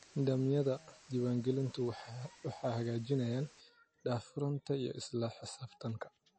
Nidaamyada diiwaangelintu waxay xaqiijinayaan daahfurnaanta iyo isla xisaabtanka.